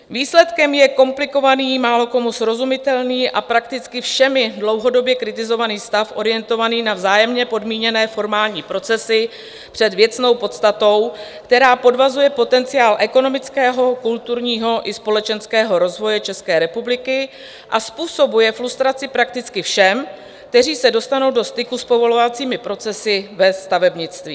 Výsledkem je komplikovaný, málokomu srozumitelný a prakticky všemi dlouhodobě kritizovaný stav orientovaný na vzájemně podmíněné formální procesy před věcnou podstatou, která podvazuje potenciál ekonomického, kulturního i společenského rozvoje České republiky a způsobuje frustraci prakticky všem, kteří se dostanou do styku s povolovacími procesy ve stavebnictví.